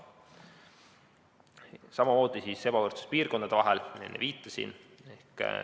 Samamoodi ebavõrdsus piirkondade vahel, nagu enne viitasin.